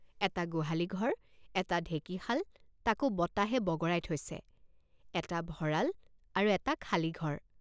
এটা গোহালি ঘৰ এটা ঢেঁকিশাল তাকো বতাহে বগৰাই থৈছে এটা ভঁৰাল আৰু এটা খালী ঘৰ।